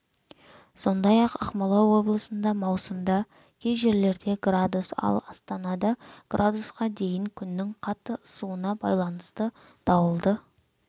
сондай-ақ ақмола облысында маусымда кей жерлерде градус ал астанада градусқа дейін күннің қатты ысуына байланысты дауылды